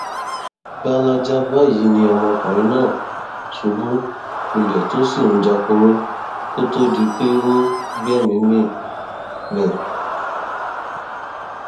gbalaja báyìí ni ọmọkùnrin náà ṣubú lulẹ tó sì ń jáporo kó tóó di pé ó gbẹmíín mi